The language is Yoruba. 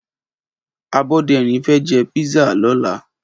Aboderin fè jé pizza lòlá